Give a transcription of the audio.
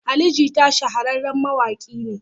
Ali Jita shahararren mawaƙi ne.